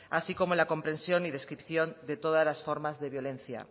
así como en la comprensión y descripción de todas las formas de violencia